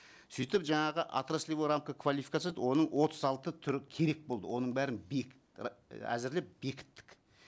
сөйтіп жаңағы отраслевая рамка квалификации деді оның отыз алты түрі керек болды оның бәрін әзірлеп бекіттік